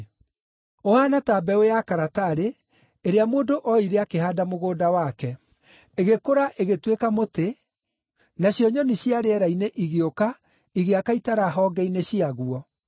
Ũhaana ta mbeũ ya karatarĩ ĩrĩa mũndũ oire akĩhaanda mũgũnda wake. Igĩkũra ĩgĩtuĩka mũtĩ, nacio nyoni cia rĩera-inĩ igĩũka igĩaka itara honge-inĩ ciaguo.”